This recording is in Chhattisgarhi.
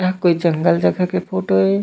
यह कोई जंगल जगह के फोटो ए--